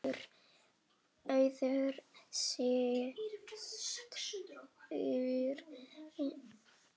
Auður systir er fallin frá.